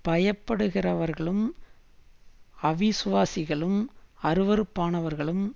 பயப்படுகிறவர்களும் அவிசுவாசிகளும் அருவருப்பானவர்களும்